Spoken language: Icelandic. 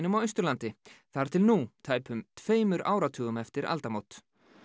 á Austurlandi þar til nú tæpum tveimur áratugum eftir aldamót